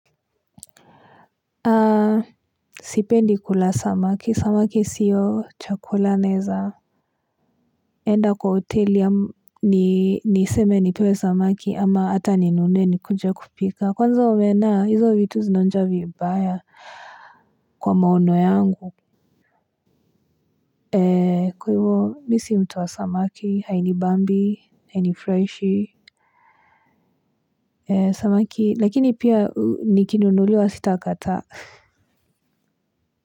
Sipendi kula samaki samaki siyo chakula naweza enda kwa hotel yaani niseme nipewe samaki ama ata ninune nikuje kupika kwanza umeona hizo vitu zinaonja vibaya kwa maono yangu kwa hivyo mi si mtu wa samaki hainibambi hainifurahishi samaki lakini pia nikinunuliwa sitakataa kwa.